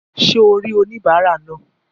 Sé o rí oníbàárà náà?